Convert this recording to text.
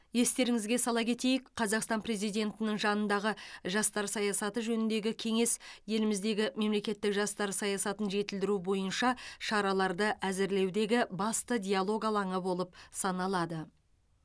естеріңізге сала кетейік қазақстан президентінің жанындағы жастар саясаты жөніндегі кеңес еліміздегі мемлекеттік жастар саясатын жетілдіру бойынша шараларды әзірлеудегі басты диалог алаңы болып саналады